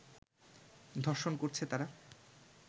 ধর্ষণ করছে তারা